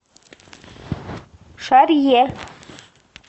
шарье